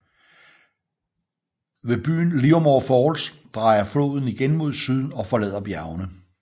Ved byen Livermore Falls drejer floden igen mod syd og forlader bjergene